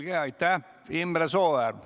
Imre Sooäär, palun!